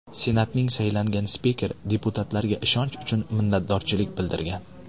Senatning saylangan spikeri deputatlarga ishonch uchun minnatdorchilik bildirgan.